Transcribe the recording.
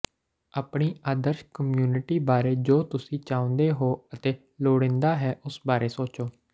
ਆਪਣੀ ਆਦਰਸ਼ ਕਮਿਊਨਿਟੀ ਬਾਰੇ ਜੋ ਤੁਸੀਂ ਚਾਹੁੰਦੇ ਹੋ ਅਤੇ ਲੋੜੀਂਦਾ ਹੈ ਉਸ ਬਾਰੇ ਸੋਚੋ